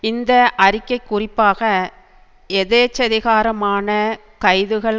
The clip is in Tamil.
இந்த அறிக்கை குறிப்பாக எதேச்சதிகாரமான கைதுகள்